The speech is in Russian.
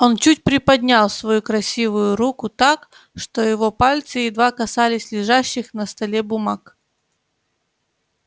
он чуть приподнял свою красивую руку так что его пальцы едва касались лежащих на столе бумаг